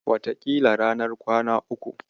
Wataƙila ranar kwana uku.